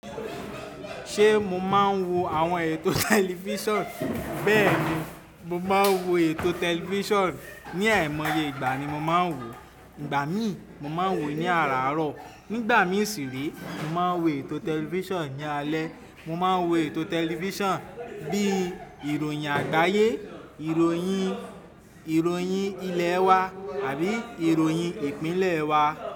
Ṣe mo ma n wo àwọn ètò tẹlifison? Bẹ́ẹ̀ni, mo máa ń wo ètò tẹlifison. Ní àìmọye ìgbà ni mo máa ń wò. Ìgbà mìí, mo máa ń wò ó ní àràárọ̀. Nígbà mìí ṣì re, mo máa ń wo ètò tẹlifison ní alẹ́. Mo máa ń wo ètò tẹlifison bí i ìròyìn àgbáyé, ìròyìn ilẹ̀ wa àbí ìròyìn ìpínlẹ̀ wa.